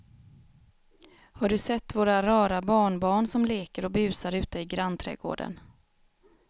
Har du sett våra rara barnbarn som leker och busar ute i grannträdgården!